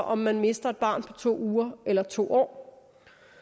om man mister et barn på to uger eller to år